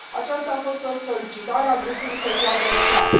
Aceasta a fost o solicitare a Grupului Social Democrat.